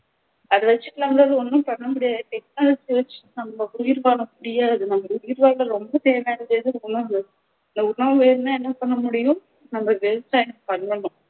அதை வச்சி நம்மலாள ஒண்ணும் பண்ண முடியாது technology வச்சு நம்ம உயிர்வாழ முடியாது நம்ம உயிர்வாழ ரொம்ப தேவையானது எதுன்னா இந்த உண்வு வேணும்னா என்ன பண்ணமுடியும் நம்ம விவசாயம் பண்ணணும்